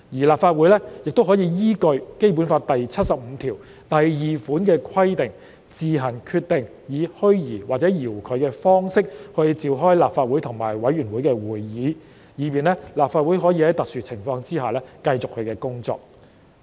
立法會也可以依據《基本法》第七十五條第二款的規定，自行決定以虛擬或遙距的方式召開立法會和委員會的會議，以便立法會可以在特殊情況下繼續其工作。